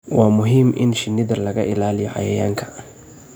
Waa muhiim in shinida laga ilaaliyo cayayaanka.